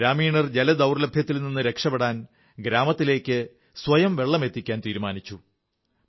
ഗ്രാമീണർ ജലദൌർലഭ്യത്തിൽ നിന്ന് രക്ഷപ്പെടാൻ ഗ്രാമത്തിലേക്ക് സ്വയം വെള്ളം എത്തിക്കാൻ തീരുമാനിച്ചു